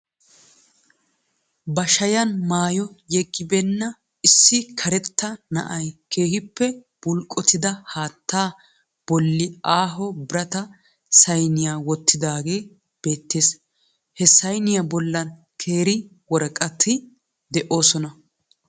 Ba shayaan maayo yeggibena issi karetta na'ay keehippe bulqqottida haatta bolli aaho biratta sayniyaa wottidage beettes. He sayniyaa bollan keeri worqatti de'ossona.